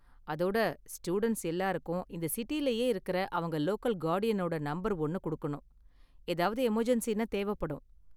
அதோட, ஸ்டூடண்ட்ஸ் எல்லாரும் இந்த சிட்டிலயே இருக்குற அவங்க லோக்கல் கார்டியனோட நம்பர் ஒன்னு கொடுக்கணும். ஏதாவது எமர்ஜென்ஸின்னா தேவைப்படும்.